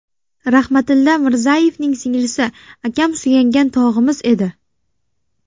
Rahmatilla Mirzayevning singlisi: Akam suyangan tog‘imiz edi.